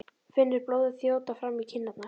Finnur blóðið þjóta fram í kinnarnar.